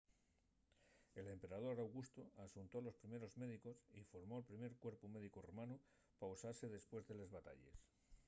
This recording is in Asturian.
l’emperador augustu axuntó a los primeros médicos y formó’l primer cuerpu médicu romanu pa usase depués de les batalles